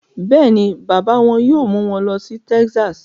Bẹ́ẹ̀ ni, bàbá wọn yóò mú wọn lọ sí Texas